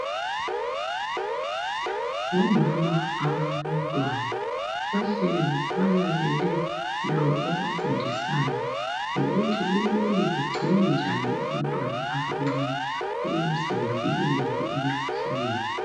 Ngomama abalabantwana bahlezi balalele lo obafundisayo ngokuthi kumele begcine njani abantwana abancane ukuze bevikelekile emikhuhlaneni.